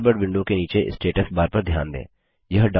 Thunderbird window के नीचे status bar पर ध्यान दें